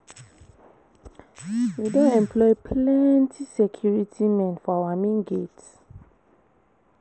We don employ plenty security men for our main gate